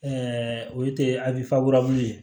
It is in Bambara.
o ye ye